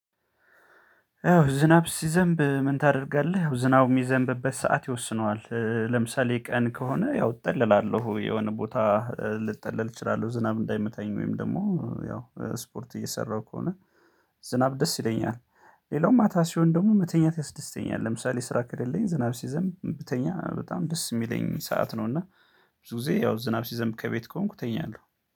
ያው ዝናብ ሲዘንብ ምን ታደርጋለህ? ዝናብ የሚዘንብበት ሰዓት ይወስነዋል ለምሳሌ ቀን ከሆነ ያው እጠልላለሁ የሆነ ቦታ ልጠለል እችላለሁ ዝናብ እንዳይመታኝ ወይም ደግሞ ያው ስፖርት እየሰራሁ ከሆነ ዝናብ ደስ ይለኛል። ሌላው ማታ ሲሆን ደግሞ መተኛት ያስደስተኛል። ለምሳሌ ስራ ከሌለኝ ዝናብ ሲዘም ብተኛ በጣም ደስ የሚለኝ ሰዓት ነው። እና ብዙ ጊዜ ያው ዝናብ ሲዘም ከቤት ከሆንኩ ተኛለሁ